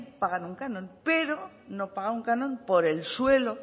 pagan un canon pero no paga un canon por el suelo